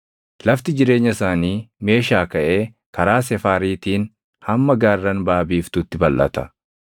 Lafti jireenya isaanii Meeshaa kaʼee karaa Sefaariitiin hamma gaarran baʼa biiftuutti balʼata.